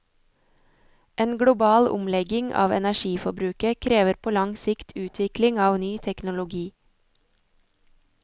En global omlegging av energiforbruket krever på lang sikt utvikling av ny teknologi.